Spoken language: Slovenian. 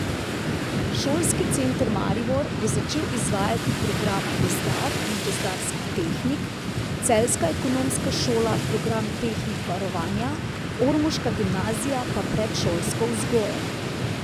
Šolski center Maribor bo začel izvajati programa gozdar in gozdarski tehnik, celjska ekonomska šola program tehnik varovanja, ormoška gimnazija pa predšolsko vzgojo.